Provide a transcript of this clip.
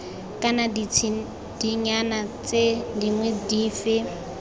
kana ditshedinyana tse dingwe dife